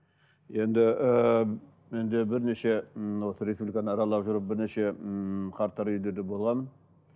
енді ііі енді бірнеше ммм осы республиканы аралап жүріп бірнеше ммм қарттар үйіндерінде болғанмын